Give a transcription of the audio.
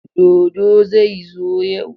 Dodo zai zo yau.